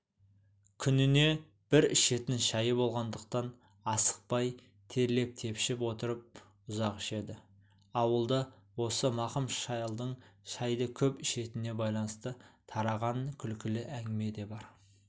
күніне бір ішетін шайы болғандықтан асықпай терлеп-тепшіп отырып ұзақ ішеді ауылда осы мақым шалдың шайды көп ішетініне байланысты тараған күлкілі әңгіме де бар